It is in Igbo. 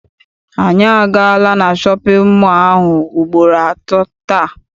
Anyị agaala na shọpịn mọọ ahụ ugboro atọ taa.